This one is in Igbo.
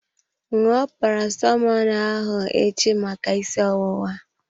Ṅụọ Paracetamọl ahụ echi maka isi ọwụwa.